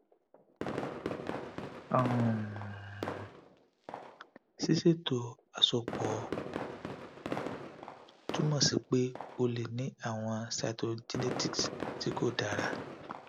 um siseto asopo tumọ si pe o le ni awọn cytogenetics ti ko dara